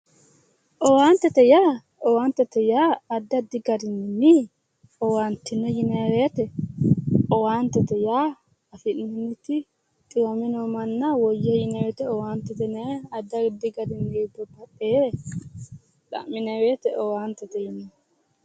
Owaantete yaa addi addi garinni owaattino yinayi woyte owaantete yaa afi'neemmoti xiwame noo manna woyyihe yineemmoti owaantete yinayi addi addire xa'minayi woyte owaantete yineemmo